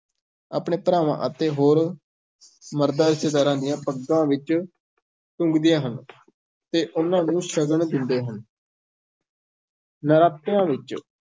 ਆਪਣੇ ਭਰਾਵਾਂ ਅਤੇ ਹੋਰ ਮਰਦ ਰਿਸ਼ਤੇਦਾਰਾਂ ਦੀਆਂ ਪੱਗਾਂ ਵਿੱਚ ਟੰਗਦੀਆਂ ਹਨ ਤੇ ਉਹਨਾਂ ਨੂੰ ਸ਼ਗਨ ਦਿੰਦੇ ਹਨ ਨਰਾਤਿਆਂ ਵਿੱਚ